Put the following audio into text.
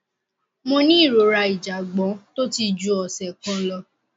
mo ní ìrora ìjàgbọn tó ti ju ọsẹ kan lọ